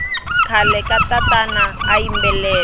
khale katatana ayimbelela